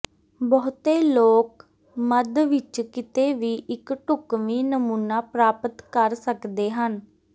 ਬਹੁਤੇ ਲੋਕ ਮੱਧ ਵਿੱਚ ਕਿਤੇ ਵੀ ਇੱਕ ਢੁਕਵੀਂ ਨਮੂਨਾ ਪ੍ਰਾਪਤ ਕਰ ਸਕਦੇ ਹਨ